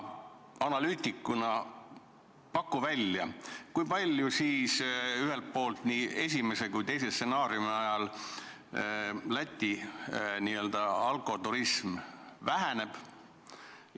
Analüütikuna paku välja, kui palju siis ühelt poolt esimese ja kui palju teise stsenaariumi korral Läti n-ö alkoturism väheneb?